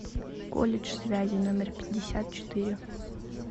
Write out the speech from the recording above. колледж связи номер пятьдесят четыре